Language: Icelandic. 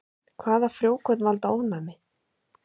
Hvaða frjókorn valda ofnæmi?